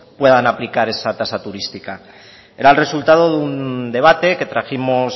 puedan aplicar esta tasa turística era el resultado de un debate que trajimos